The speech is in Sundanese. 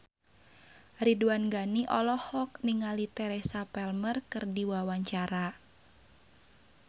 Ridwan Ghani olohok ningali Teresa Palmer keur diwawancara